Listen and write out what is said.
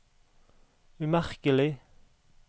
umerkelig